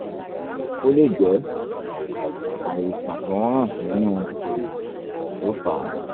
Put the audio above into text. ó lè jẹ́ àìsàn tó ń ràn nínú erìgì ló fà á